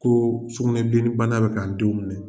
Ko sukunɛbilenninbana bɛ k'a denw minɛ